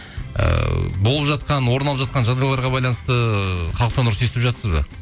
ыыы болып жатқан орын алып жатқан жағдайларға байланысты халықтан ұрыс естіп жатырсыз ба